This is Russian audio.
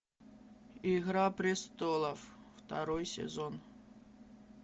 игра престолов второй сезон